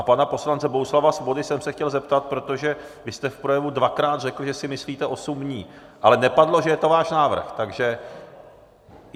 A pana poslance Bohuslava Svobody jsem se chtěl zeptat, protože vy jste v projevu dvakrát řekl, že si myslíte osm dní, ale nepadlo, že je to váš návrh, takže...